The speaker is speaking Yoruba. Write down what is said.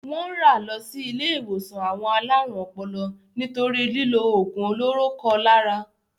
Wọ́n rà lọ sí ilé-ìwòsàn àwọn alárùn ọpọlọ nítorí lílo òògùn olóró kọ lára.